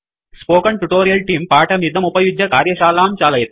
spoken tutorial तेऽं पाठमिदमुपयुज्य कार्यशालां चालयति